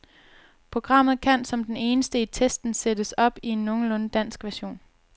Programmet kan som den eneste i testen sættes op i en nogenlunde dansk version.